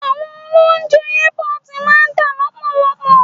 Àwọn oloúnjẹ airport máa ń tà lọ́pọ̀lọpọ.